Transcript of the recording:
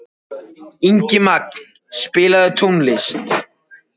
Ingimagn, spilaðu tónlist.